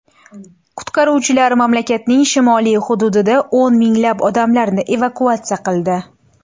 Qutqaruvchilar mamlakatning shimoliy hududida o‘n minglab odamlarni evakuatsiya qildi.